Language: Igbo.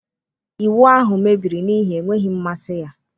Ịwụ ahụ mebiri n'ihi enweghị mmasị ya.